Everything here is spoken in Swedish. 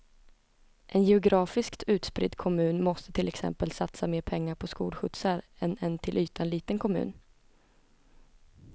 En geografiskt utspridd kommun måste till exempel satsa mer pengar på skolskjutsar än en till ytan liten kommun.